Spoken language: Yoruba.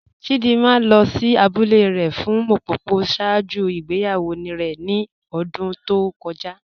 Chídìmà lọ sí àbúlẹ̀ rẹ̀ fún Ḿpòpò ṣáàjú ìgbèyàwó rẹ̀ ní ọ̀dún tó kọ́já